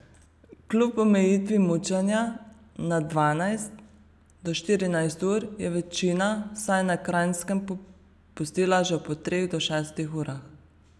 Kljub omejitvi mučenja na dvanajst do štirinajst ur, je večina, vsaj na Kranjskem, popustila že po treh do šestih urah.